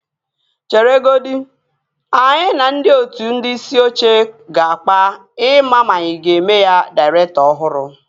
Chere godi. Anyị na ndị otu ndị isi oche ga-akpa ị maa ma anyị a ga-eme ya dairektọ ọhụrụ